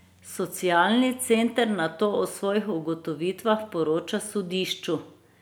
Socialni center nato o svojih ugotovitvah poroča sodišču.